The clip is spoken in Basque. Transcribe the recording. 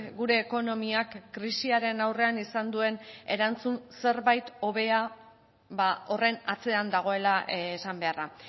gure ekonomiak krisiaren aurrean izan duen erantzun zerbait hobea horren atzean dagoela esan beharra